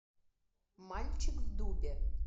мальчик в дубе